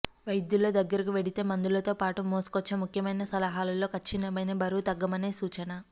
వైద్యుల దగ్గరకు వెడితే మందులతో పాటు మోసుకొచ్చే ముఖ్యమైన సలహాలలో కచ్చితమైనది బరువు తగ్గమనే సూచన